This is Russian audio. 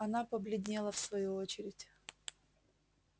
она побледнела в свою очередь